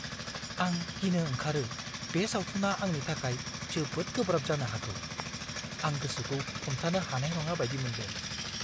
आं गिनो ओंखारो बे सावथुना आंनि थाखाय जोबोद गोब्राब जानो हागौ। आं गोसोखौ हमथानो हानाय नङा बायदि मोनदों!